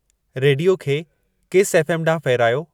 Radio खे किस F. M. ॾांहुं फेरायो